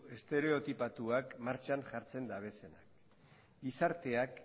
estereotipatuak martxan jartzen dabezenak gizarteak